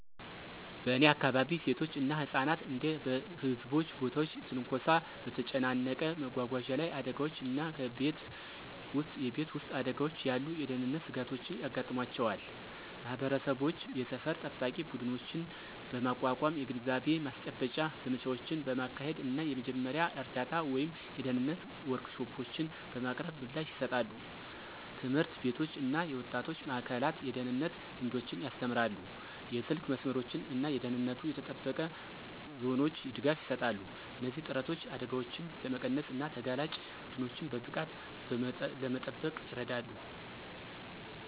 በእኔ አካባቢ፣ ሴቶች እና ህጻናት እንደ በህዝብ ቦታዎች ትንኮሳ፣ በተጨናነቀ መጓጓዣ ላይ አደጋዎች እና በቤት ውስጥ የቤት ውስጥ አደጋዎች ያሉ የደህንነት ስጋቶች ያጋጥሟቸዋል። ማህበረሰቦች የሰፈር ጠባቂ ቡድኖችን በማቋቋም፣ የግንዛቤ ማስጨበጫ ዘመቻዎችን በማካሄድ እና የመጀመሪያ እርዳታ ወይም የደህንነት ወርክሾፖችን በማቅረብ ምላሽ ይሰጣሉ። ትምህርት ቤቶች እና የወጣቶች ማእከላት የደህንነት ልምዶችን ያስተምራሉ, የስልክ መስመሮች እና ደህንነቱ የተጠበቀ ዞኖች ድጋፍ ይሰጣሉ. እነዚህ ጥረቶች አደጋዎችን ለመቀነስ እና ተጋላጭ ቡድኖችን በብቃት ለመጠበቅ ይረዳሉ።